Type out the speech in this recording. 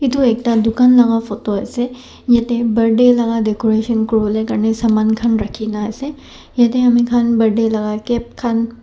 edu ekta dukan laka photo ase yatae birthday laka decoration kuriwolae karni saman khan rakhina ase yatae amikhan birthday laka cap khan.